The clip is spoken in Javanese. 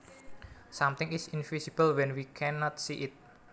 Something is invisible when we can not see it